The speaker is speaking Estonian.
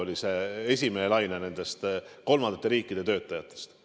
See oli esimene kolmandate riikide töötajate laine.